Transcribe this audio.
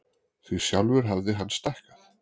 Því sjálfur hafði hann stækkað.